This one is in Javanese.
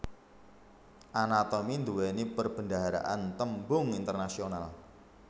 Anatomi nduwèni perbendaharaan tembung internasional